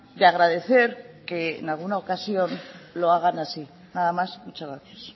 de agradecer que en alguna ocasión lo hagan así nada más muchas gracias